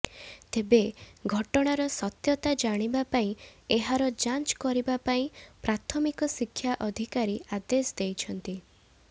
ତେବେ ଘଟଣାର ସତ୍ଯତା ଜାଣିବା ପାଇଁ ଏହାର ଯାଞ୍ଚ କରିବା ପାଇଁ ପ୍ରାଥମିକ ଶିକ୍ଷା ଅଧିକାରୀ ଅଦେଶ ଦେଇଛନ୍ତି